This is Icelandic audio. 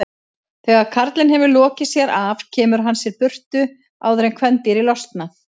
Þegar karlinn hefur lokið sér af kemur hann sér í burtu áður en kvendýrið losnar.